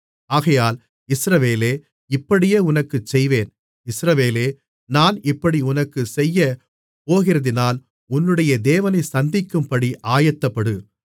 ஆகையால் இஸ்ரவேலே இப்படியே உனக்குச் செய்வேன் இஸ்ரவேலே நான் இப்படி உனக்குச் செய்யப்போகிறதினால் உன்னுடைய தேவனைச் சந்திக்கும்படி ஆயத்தப்படு